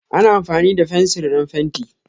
Ana amfani da fensir don fenti.